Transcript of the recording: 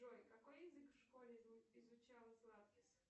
джой какой язык в школе изучала златкис